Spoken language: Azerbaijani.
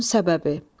Bunun səbəbi.